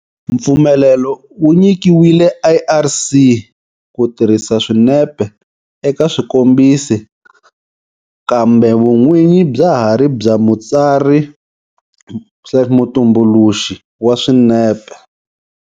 Mpfumelelo wu nyikiwile ARC ku tirhisa swinepe eka xikombiso kambe vun'winyi bya ha ri bya mutsari-mutumbuluxi wa swinepe.